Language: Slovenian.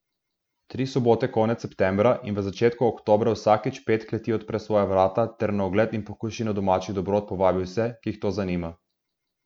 Tri sobote konec septembra in v začetku oktobra vsakič pet kleti odpre svoja vrata ter na ogled in pokušino domačih dobrot povabi vse, ki jih to zanima.